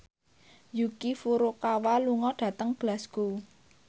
Yuki Furukawa lunga dhateng Glasgow